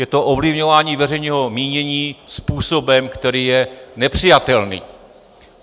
Je to ovlivňování veřejného mínění způsobem, který je nepřijatelný.